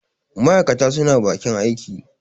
ma' aikata suna bakin aiki